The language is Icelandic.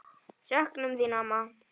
Söknum þín, amma.